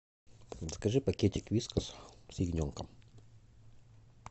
закажи пакетик вискас с ягненком